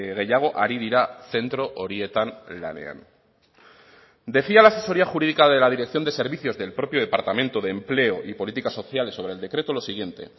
gehiago ari dira zentro horietan lanean decía la asesoría jurídica de la dirección de servicios del propio departamento de empleo y políticas sociales sobre el decreto lo siguiente